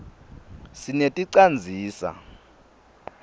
sineti canzisa